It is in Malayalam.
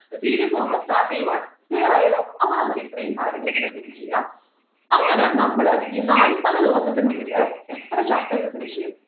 videos നമ്മൾ start ചെയ്യുകയാണ് clear ആയല്ലോ അപ്പോൾ നമ്മൾ ഇത്രയും കാര്യങ്ങൾ ഇങ്ങനെ finish ചെയ്യാ അങ്ങനെ നമ്മൾ ഈ നാല്പത് ദിവസത്തിനുള്ളിൽ എത്ര chapters finish ചെയ്യും